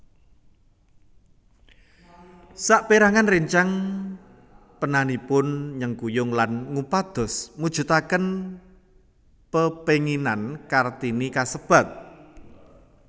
Sapérangan réncang penanipun nyengkuyung lan ngupados mujudaken pepénginan Kartini kasebat